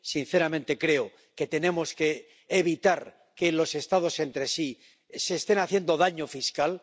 Sinceramente, creo que tenemos que evitar que los Estados entre sí se estén haciendo daño fiscal.